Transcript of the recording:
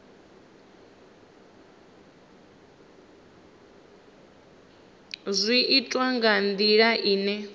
zwi itwa nga ndila ine